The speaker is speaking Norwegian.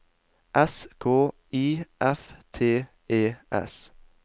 S K I F T E S